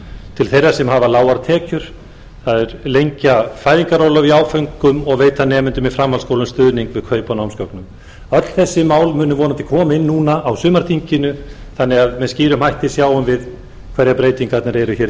til þeirra sem hafa lágar tekjur að lengja fæðingarorlofið í áföngum og veita nemendum í framhaldsskólum stuðning við kaup á námsgögnum öll þessi mál munu vonandi koma inn núna á sumarþinginu þannig að með skýrum hætti sjáum við hverjar breytingarnar eru hér í